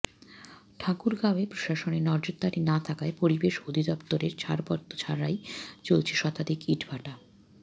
ঠাকুরগাঁওয়ে প্রশাসনের নজরদারি না থাকায় পরিবেশ অধিদপ্তরের ছাড়পত্র ছাড়াই চলছে শতাধিক ইটভাটা